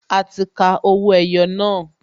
A ti ka owó ẹyọ náà